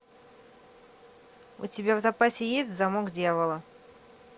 у тебя в запасе есть замок дьявола